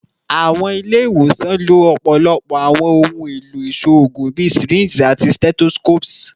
Awọn ile-iwosan lo ọpọlọpọ awọn ohun elo iṣoogun bii syringes ati stethoscopes